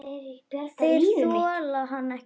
Þeir þola hann ekki.